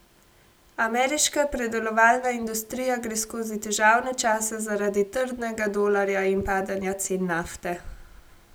Ameriška predelovalna industrija gre skozi težavne čase zaradi trdnega dolarja in padanja cen nafte.